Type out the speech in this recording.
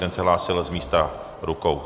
Ten se hlásil z místa rukou.